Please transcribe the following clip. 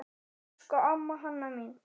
Elsku amma Hanna mín.